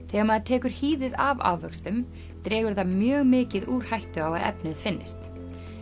þegar maður tekur hýðið af ávöxtum dregur það mjög mikið úr hættu á að efnið finnist